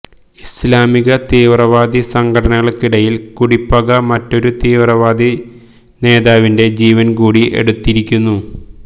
ഇസ്ലാമിക തീവ്രവാദി സംഘടനകൾക്കിടയീൽ കുടിപ്പക മറ്റൊരു തീവ്രവാദി നേതാവിന്റെ ജീവൻ കൂടി എടുത്തിരിക്കുന്നു